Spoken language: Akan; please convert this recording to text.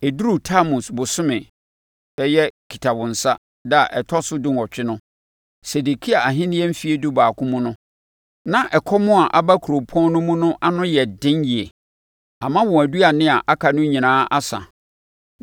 Ɛduruu Tammus bosome (bɛyɛ Kitawonsa) da a ɛtɔ so dunwɔtwe no, Sedekia ahennie mfeɛ dubaako mu no, na ɛkɔm a aba kuropɔn no mu no ano ayɛ den yie, ama wɔn aduane a aka no nyinaa asa.